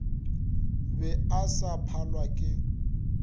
be a sa phalwe ke